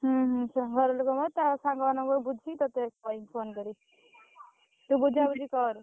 ହୁଁ, ହୁଁ ନିଶ୍ଚୟ, ଘରେ ଲୋକ ତା ସାଙ୍ଗମାନଙ୍କଠୁ ବୁଝି, ତତେ କହିବି phone କରିକି। ତୁ ବୁଝାବୁଝି କର।